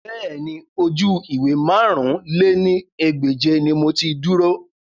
Bẹ́ẹ̀ni, oju-iwe màrún lé ní ẹgbẹ́je ni mo ti duro